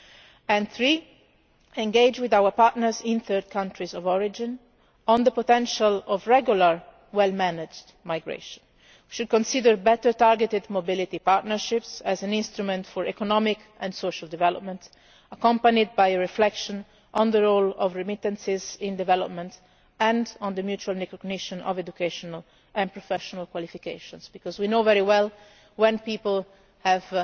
journeys. Thirdly, to engage with our partners in third countries of origin on the potential of regular, well managed migration. We should consider better targeted mobility partnerships as an instrument for economic and social development, accompanied by reflection on the role of remittances in development and on the mutual recognition of educational and professional qualifications. Because we know very well that when